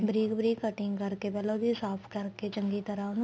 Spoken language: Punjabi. ਬਰੀਕ ਬਰੀਕ cutting ਕਰਕੇ ਪਹਿਲਾਂ ਉਹਦੀ ਸਾਫ਼ ਕਰਕੇ ਚੰਗੀ ਤਰ੍ਹਾਂ ਉਹਨੂੰ